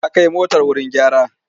Ya kai motar wuri gyara.